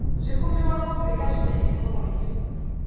byi kumiwa ngopfu eka swiyanimoya